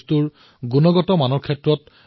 বন্ধুসকল ইয়াৰ সৈতে তেওঁ আৰু এক ৰোচক কথা কৈছে